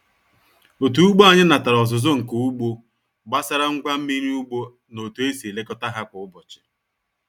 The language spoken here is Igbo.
Otu ugbo anyị natara ọzụzụ nka ugbo gbasara ngwa mmiri ugbo na otu esi elekọta ha kwa ụbọchị.